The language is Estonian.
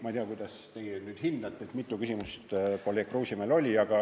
Ma ei tea, kuidas te hindate, mitu küsimust kolleeg Kruusimäel oli.